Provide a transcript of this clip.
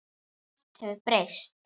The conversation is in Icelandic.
Margt hefur breyst.